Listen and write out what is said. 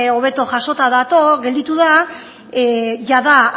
hobeto jasota gelditu da jada